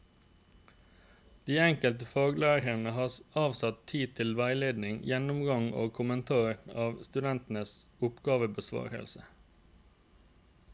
De enkelte faglærerne har avsatt tid til veiledning, gjennomgang og kommentar av studentenes oppgavebesvarelser.